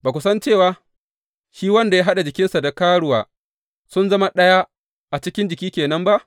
Ba ku san cewa shi wanda ya haɗa jikinsa da karuwa sun zama ɗaya a cikin jiki ke nan ba?